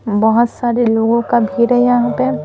बहुत सारे लोगों का भीड़ है यहाँ पे--